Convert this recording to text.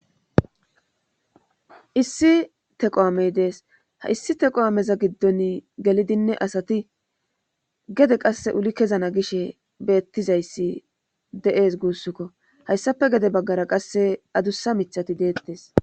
issi teqo amey dees ha issi teqo ameza giddon gelidinne asati gede qasse uli kezana gishe beettizayssi de7ees guussukko hayssafe gede baggara qasse adussa mithati deettes